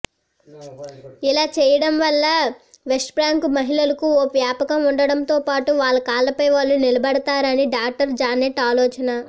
ఇలా చేయడం వల్ల వెస్ట్బ్యాంక్ మహిళలకు ఓ వ్యాపకం ఉండటంతోపాటూ వాళ్ల కాళ్లపై వాళ్లు నిలబడతారని డాక్టర్ జానెట్ ఆలోచన